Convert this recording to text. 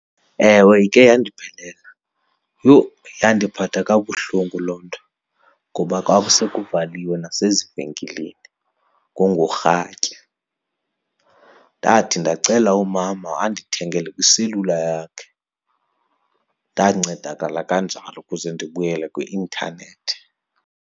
Ewe, ike yandiphelela. Yho, yandiphatha kabuhlungu loo nto ngoba kwakuse kuvaliwe nasezivenkileni, kwakungorhatya. Ndathi ndacela umama andithengele kwiselula yakhe. Ndancedakala kanjalo ukuze ndibuyele kwi-intanethi.